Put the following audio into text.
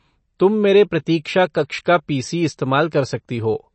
तुम मेरे प्रतीक्षा कक्ष का पी.सी. इस्तेमाल कर सकती हो।